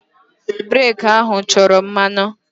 Breeki ahụ chọrọ mmanụ.